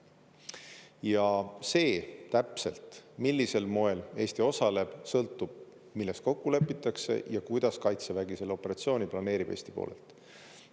Ja see täpselt, millisel moel Eesti osaleb, sõltub, milles kokku lepitakse ja kuidas Kaitsevägi selle operatsiooni planeerib Eesti poolelt.